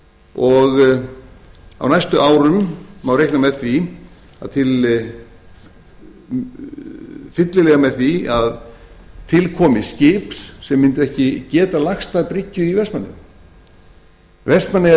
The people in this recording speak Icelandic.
og á næstu árum má reikna fyllilega með því að til komi skip sem mundi ekki geta lagst að bryggju í vestmannaeyjum vestmannaeyjar